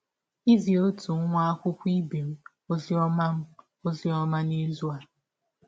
Izi ọtụ nwa akwụkwọ ibe m ọzi ọma m ọzi ọma n’izụ a.